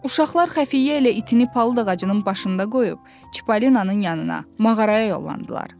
Uşaqlar Xəfiyyə ilə itinə palıd ağacının başında qoyub Çipalinanın yanına, mağaraya yollandılar.